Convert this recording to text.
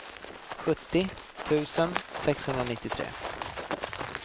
sjuttio tusen sexhundranittiotre